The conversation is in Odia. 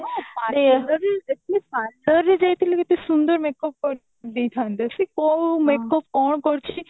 ଏବେବି ଦେଖୁନୁ parlor ରେ ଯାଇଥିଲେ କେତେ ସୁନ୍ଦର makeup ଦେଇଥାନ୍ତେ କୋଉ makeup କଣ କରିଛି